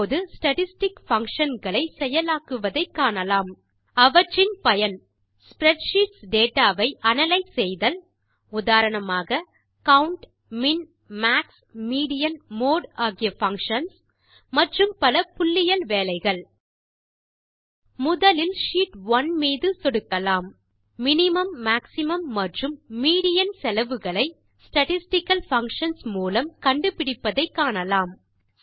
இப்போது statistic function களை செயலாக்குவதை காணலாம் அவற்றின் பயன் ஸ்ப்ரெட்ஷீட்ஸ் டேட்டா வை அனாலிசிஸ் செய்தல் உதாரணமாக count min max median mode ஆகிய பங்ஷன்ஸ் மற்றும் பல புள்ளியியல் வேலைகள் முதலில் ஷீட் 1 மீது சொடுக்கலாம் மினிமும் மேக்ஸிமம் மற்றும் மீடியன் செலவுகளை ஸ்டாட்டிஸ்டிக்கல் பங்ஷன்ஸ் மூலம் கண்டுபிடிப்பதை காணலாம்